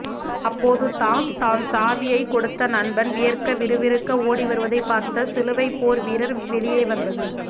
அப்போது தான் தான் சாவியைக் கொடுத்த நண்பன் வியர்க்க விறுவிறுக்க ஓடிவருவதைப் பார்த்த சிலுவைப் போர் வீரர் வெளியே வந்து